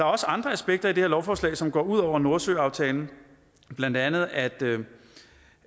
også andre aspekter i det her lovforslag som går ud over nordsøaftalen blandt andet at